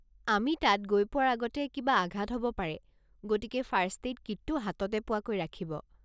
আমি তাত গৈ পোৱাৰ আগতে কিবা আঘাত হ'ব পাৰে, গতিকে ফাৰ্ষ্ট-এইড কিটটো হাততে পোৱাকৈ ৰাখিব।